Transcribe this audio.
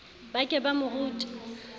ba ke ba mo rute